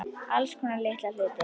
Alls konar litla hluti.